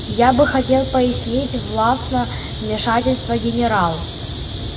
я бы хотел пояснить властно вмешательство генерал